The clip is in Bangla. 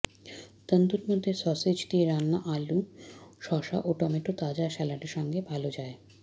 তন্দুর মধ্যে সসেজ দিয়ে রান্না আলু শসা ও টমেটো তাজা স্যালাডে সঙ্গে ভাল যায়